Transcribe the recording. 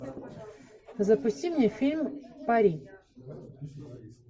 запусти мне фильм пари